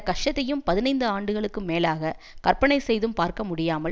கஷ்டத்தையும் பதினைந்து ஆண்டுகளுக்கு மேலாக கற்பனை செய்தும் பார்க்க முடியாமல்